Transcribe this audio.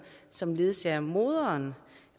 som ledsager moderen